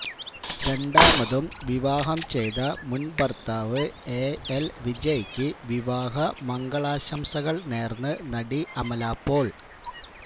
രണ്ടാമതും വിവാഹം ചെയ്ത മുന് ഭര്ത്താവ് എഎല് വിജയ്ക്ക് വിവാഹ മംഗളാശംസകള് നേര്ന്ന് നടി അമല പോള്